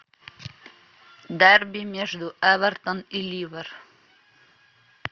дерби между эвертон и ливер